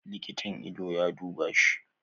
Likitan idon ya duba shi